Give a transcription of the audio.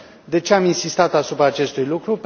De ce am insistat asupra acestui lucru?